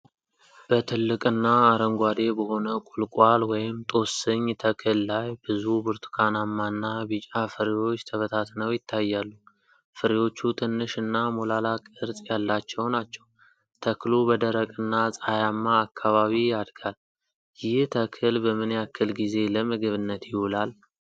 በትልቅና አረንጓዴ በሆነ ቁልቋል (ጦስኝ) ተክል ላይ ብዙ ብርቱካናማና ቢጫ ፍሬዎች ተበታትነው ይታያሉ። ፍሬዎቹ ትንሽ እና ሞላላ ቅርጽ ያላቸው ናቸው፣ ተክሉ በደረቅና ፀሐያማ አካባቢ ያድጋል፤ ይህ ተክል በምን ያክል ጊዜ ለምግብነት ይውላል?